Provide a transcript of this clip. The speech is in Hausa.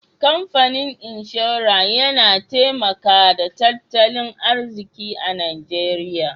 kamfanin inshora Yana taimaka da tattalin arziki najeria.